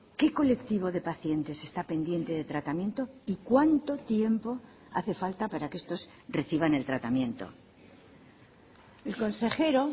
qué colectivo de pacientes está pendiente de tratamiento y cuánto tiempo hace falta para que estos reciban el tratamiento el consejero